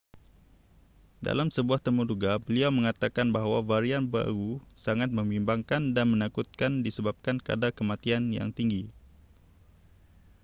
dalam sebuah temuduga beliau mengatakan bahawa varian baru sangat membimbangkan dan menakutkan disebabkan kadar kematian yang tinggi